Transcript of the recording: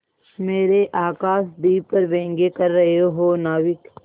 मेरे आकाशदीप पर व्यंग कर रहे हो नाविक